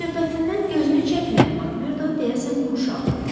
Həmsöhbətindən gözünü çəkməyən Makmerdo deyəsən yumşaldı.